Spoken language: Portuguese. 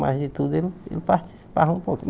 Mas de tudo ele ele participava um pouquinho.